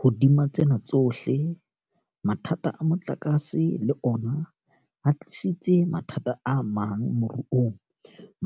Hodima tsena tsohle, mathata a motlakase le ona a tlisitse mathata amang moruong,